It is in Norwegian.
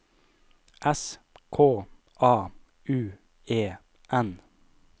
S K A U E N